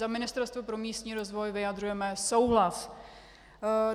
Za Ministerstvo pro místní rozvoj vyjadřujeme souhlas.